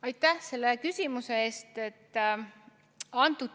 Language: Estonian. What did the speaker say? Aitäh selle küsimuse eest!